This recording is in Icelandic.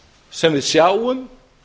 sem við sjáum